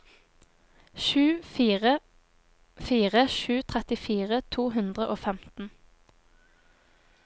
sju fire fire sju trettifire to hundre og femten